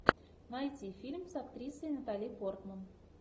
найти фильм с актрисой натали портман